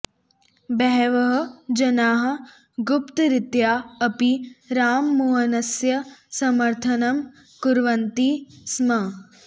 बहवः जनाः गुप्तरीत्या अपि राममोहनस्य समर्थनं कुर्वन्ति स्म